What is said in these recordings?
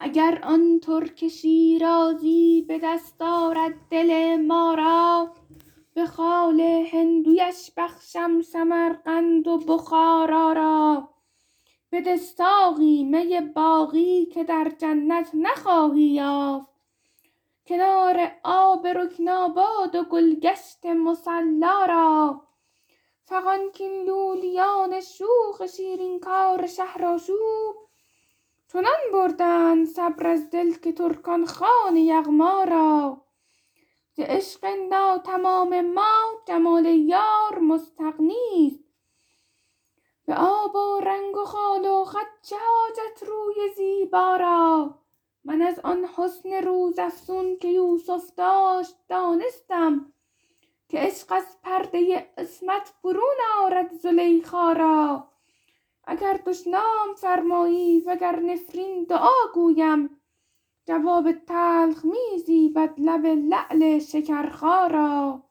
اگر آن ترک شیرازی به دست آرد دل ما را به خال هندویش بخشم سمرقند و بخارا را بده ساقی می باقی که در جنت نخواهی یافت کنار آب رکناباد و گل گشت مصلا را فغان کاین لولیان شوخ شیرین کار شهرآشوب چنان بردند صبر از دل که ترکان خوان یغما را ز عشق ناتمام ما جمال یار مستغنی است به آب و رنگ و خال و خط چه حاجت روی زیبا را من از آن حسن روزافزون که یوسف داشت دانستم که عشق از پرده عصمت برون آرد زلیخا را اگر دشنام فرمایی و گر نفرین دعا گویم جواب تلخ می زیبد لب لعل شکرخا را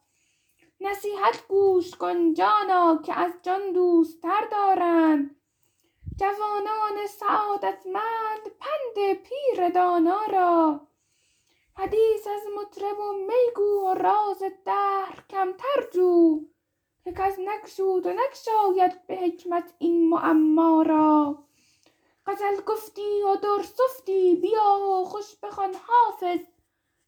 نصیحت گوش کن جانا که از جان دوست تر دارند جوانان سعادتمند پند پیر دانا را حدیث از مطرب و می گو و راز دهر کمتر جو که کس نگشود و نگشاید به حکمت این معما را غزل گفتی و در سفتی بیا و خوش بخوان حافظ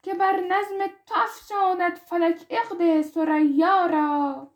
که بر نظم تو افشاند فلک عقد ثریا را